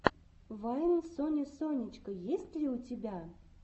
вайн сони сонечко есть ли у тебя